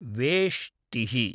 वेष्टिः